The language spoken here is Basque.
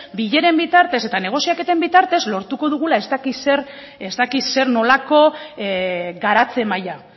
bileren bitartez eta negoziaketen bitartez lortuko dugula ez dakit zer nolako garatze maila